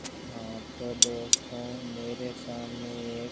आ तो दोस्तों मेरे सामने एक--